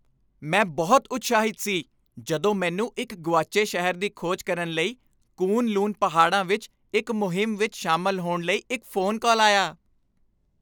ਮੈਂ ਬਹੁਤ ਉਤਸ਼ਾਹਿਤ ਸੀ ਜਦੋਂ ਮੈਨੂੰ ਇੱਕ ਗੁਆਚੇ ਸ਼ਹਿਰ ਦੀ ਖੋਜ ਕਰਨ ਲਈ ਕੁਨ ਲੂਨ ਪਹਾੜਾਂ ਵਿੱਚ ਇੱਕ ਮੁਹਿੰਮ ਵਿੱਚ ਸ਼ਾਮਲ ਹੋਣ ਲਈ ਇੱਕ ਫ਼ੋਨ ਕਾਲ ਆਇਆ